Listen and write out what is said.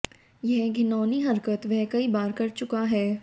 यह घिनौनी हरकत वह कई बार कर चुका है